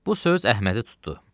Bu söz Əhmədi tutdu.